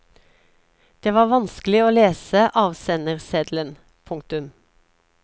Det var vanskelig å lese avsenderseddelen. punktum